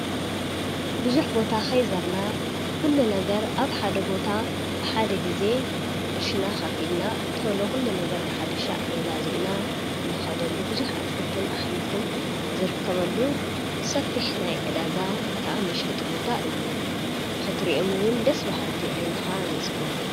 ብዙኅ ቦታ ኸይዘርና ዂሉ ነገር ኣብ ሓደ ቦታ ብሓደ ጊዜ ቕርሽና ኻፊልና ተሎዂሉ ነገር ብሓደ ሻዕ ገዛ ዚእና እንኸደሉ ብዙኅ እትክልትን ኣኅምልትን ዝርከበሉ ሰፊሕ ናይ ዕዳጋ ከዓ መሸጥ ቦታ እዩ ንኽትርኦምውን ደስ በሃልቲ ኣይንኻ ዘጽጉ